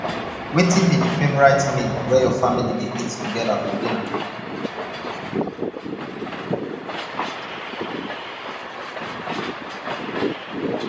wetin be di favorite meal wey your family dey eat together for dinner